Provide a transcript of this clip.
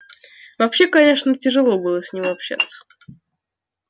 вообще конечно тяжело с ним было общаться